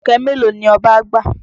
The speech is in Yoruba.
Ọ̀kẹ́ mélòó ni Ọba gbà?